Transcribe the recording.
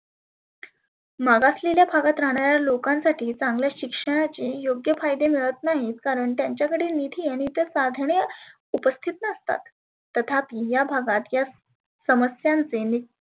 मागासलेल्या भागात राहणाऱ्या लोकांसाठी चांगल्या शिक्षणाची योग्य फायदे मिळत नाहीत कारण त्याच्याकडे निधी आणि इतर साधने उपस्थित नसतात. तथापी या भागात या समस्यांचे